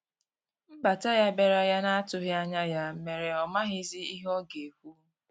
Nbata ya biara ya na atughi anya ya mere ọ maghizi ihe ọga ekwụ.